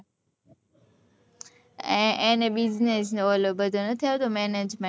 એને business નો ઓલો બધો નથી આવતો management